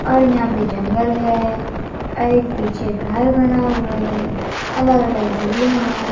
और यहां पर जंगल है और एक पीछे घर बना हुआ है अलग अलग झूले हैं।